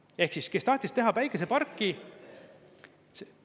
Ehk siis, kes tahtis teha päikeseparki …